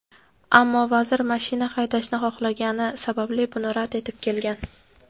ammo vazir mashina haydashni xohlagani sababli buni rad etib kelgan.